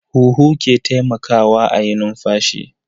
Huhu ke taimakawa a yi numfashi.